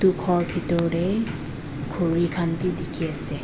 gour bethor te khori khan bhi dekhi ase.